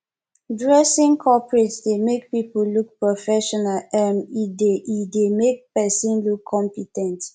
dressing coporate dey make pipu look professional um e dey e dey make person look compe ten t